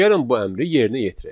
Gəlin bu əmri yerinə yetirək.